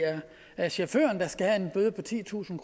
er chaufføren der skal have en bøde på titusind